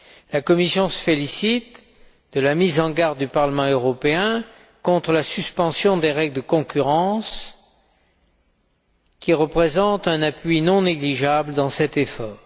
La Commission se félicite de la mise en garde du Parlement européen contre la suspension des règles de concurrence, qui représentent un appui non négligeable dans cet effort.